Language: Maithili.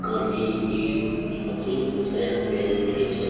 काटी कील इ सब चीज होय छै हार्डवेयर में मिले छै।